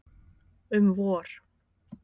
Um vor.